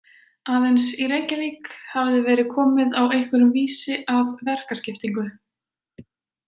Aðeins í Reykjavík hafði verið komið á einhverjum vísi að verkaskiptingu.